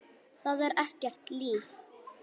Það er ekkert líf.